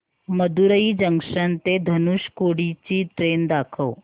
Madurai junction ते धनुषकोडी ची train दाखव